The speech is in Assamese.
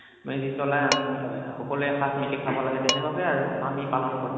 মেজি জলাই আমি সকলোয়ে এসাজ মিলি খাব লাগে তেনেকুৱাকে আৰু আমি পালন কৰো